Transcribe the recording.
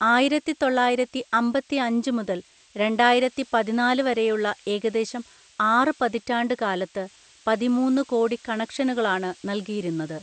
ആയിരത്തിത്തൊള്ളായിരത്തിഅമ്പത്തിഅഞ്ച് മുതൽ രണ്ടായിരത്തിപതിനാല് വരെയുള്ള ഏകദേശം ആറ് പതിറ്റാണ്ട്കാലത്ത് പതിമൂന്ന്‌ കോടി കണക്ഷനുകളാണ് നല്കിയിരുന്നത്.